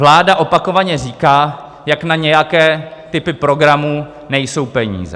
Vláda opakovaně říká, jak na nějaké typy programů nejsou peníze.